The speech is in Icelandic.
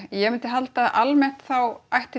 ég mundi halda að almennt þá ætti